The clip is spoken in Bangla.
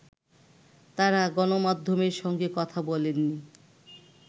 তারা গণমাধ্যমের সঙ্গে কথা বলেননি